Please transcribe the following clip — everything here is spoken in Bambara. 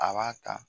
A b'a ta